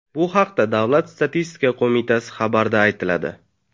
Bu haqda Davlat statistika qo‘mitasi xabarida aytiladi .